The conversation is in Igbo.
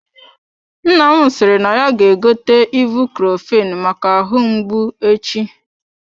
Nna m sịrị na ya ga-egote ibucrofen maka ahụ mgbu echi.